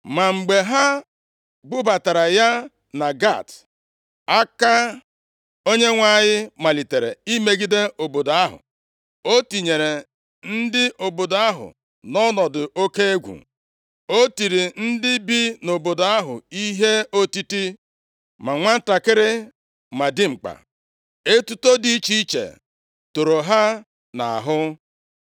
Ma mgbe ha bubatara ya na Gat, aka + 5:9 \+xt Dit 2:15; 1Sa 5:11; 12:15\+xt* Onyenwe anyị malitere imegide obodo ahụ. O tinyere ndị obodo ahụ nʼọnọdụ oke egwu. O tiri ndị bi nʼobodo ahụ ihe otiti, ma nwantakịrị ma dimkpa, etuto dị iche iche toro ha nʼahụ.